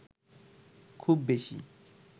খুব বেশি